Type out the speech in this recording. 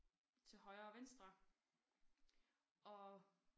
Til højre og venstre og